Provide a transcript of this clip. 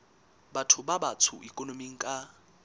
batho ba batsho ikonoming ka